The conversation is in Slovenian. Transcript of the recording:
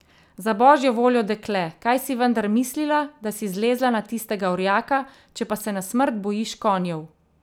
Za božjo voljo, dekle, kaj si vendar mislila, da si zlezla na tistega orjaka, če pa se na smrt bojiš konjev?